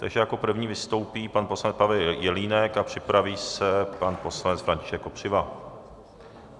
Teď jako první vystoupí pan poslanec Pavel Jelínek a připraví se pan poslanec František Kopřiva.